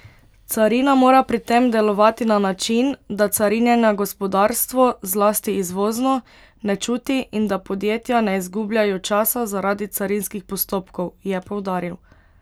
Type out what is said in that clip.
Carina mora pri tem delovati na način, da carinjenja gospodarstvo, zlasti izvozno, ne čuti, in da podjetja ne zgubljajo časa zaradi carinskih postopkov, je poudaril.